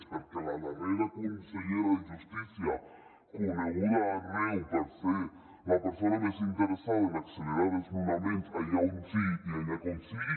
és perquè la darrera consellera de justícia coneguda arreu per ser la persona més interessada en accelerar desnonaments allà on sigui i allà com sigui